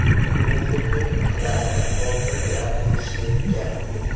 Bu xuddi mixlarni oltin bilan urishdek gap.